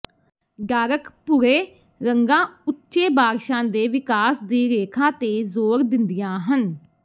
dark ਭੂਰੇ ਰੰਗਾਂ ਉੱਚੇ ਬਾਰਸ਼ਾਂ ਦੇ ਵਿਕਾਸ ਦੀ ਰੇਖਾ ਤੇ ਜ਼ੋਰ ਦਿੰਦੀਆਂ ਹਨ